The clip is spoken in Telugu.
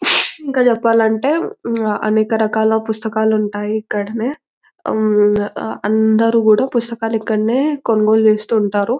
ఇంకా చెప్పాలంటే అనేక రకాల పుస్తకాలు ఉంటాయి ఇక్కడనే ఉమ్ అందరూ కూడా పుస్తకాలు ఇక్కడనే కొనుగోలు చేస్తూ ఉంటారు.